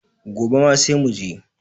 Gobe ma sai mu je.